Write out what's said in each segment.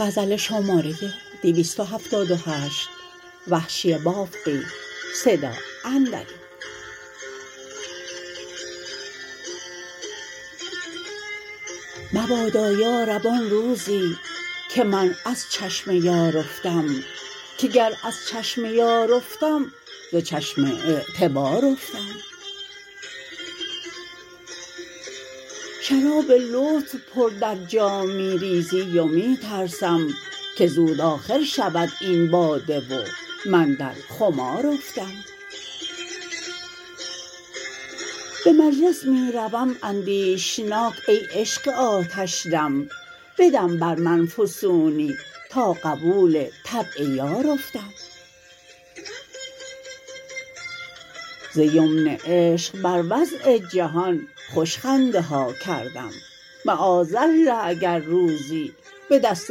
مبادا یارب آن روزی که من از چشم یار افتم که گر از چشم یار افتم ز چشم اعتبار افتم شراب لطف پر در جام می ریزی و می ترسم که زود آخر شود این باده و من در خمار افتم به مجلس می روم اندیشناک ای عشق آتش دم بدم بر من فسونی تا قبول طبع یار افتم ز یمن عشق بر وضع جهان خوش خنده ها کردم معاذالله اگر روزی به دست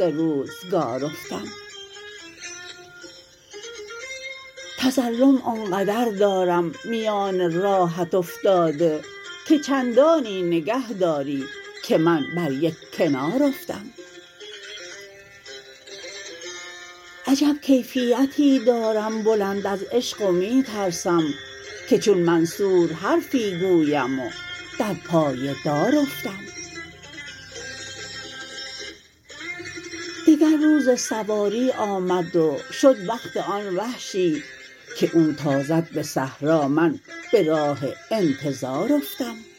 روزگار افتم تظلم آن قدر دارم میان راهت افتاده که چندانی نگه داری که من بر یک کنار افتم عجب کیفیتی دارم بلند از عشق و می ترسم که چون منصور حرفی گویم و در پای دار افتم دگر روز سواری آمد و شد وقت آن وحشی که او تازد به صحرا من به راه انتظار افتم